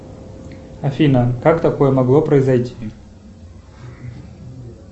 афина как такое могло произойти